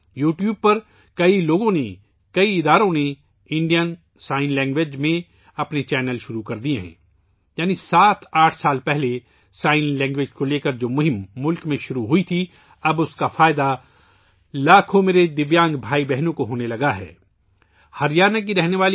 بہت سے لوگوں نے، بہت سے اداروں نے یوٹیوب پر بھارتی اشاروں کی زبان میں اپنے چینل شروع کئے ہیں یعنی ملک میں 7 8 سال پہلے اشارے کی زبان کے بارے میں ، جو مہم شروع کی گئی تھی، اب میرے لاکھوں معذور بھائی اور بہنیں اس کا فائدہ اٹھا رہے ہیں